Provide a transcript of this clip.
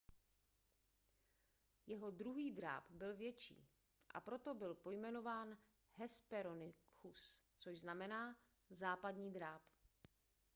jeho druhý dráp byl větší a proto byl pojmenován hesperonychus což znamená západní dráp